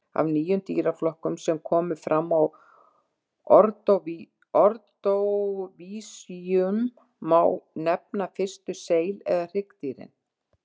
Af nýjum dýraflokkum sem komu fram á ordóvísíum má nefna fyrstu seil- eða hryggdýrin.